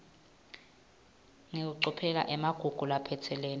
ngekucophelela emagugu laphatselene